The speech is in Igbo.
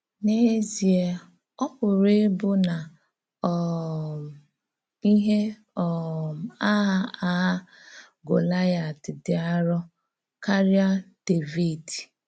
N’èzíè, ọ pụ̀rà íbụ̀ na um íhè um àgha àgha Gòláịát dị̀ àrọ̀ kárí Dévìd!